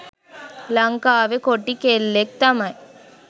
ලංකාවෙ කොටි කෙල්ලෙක් තමයි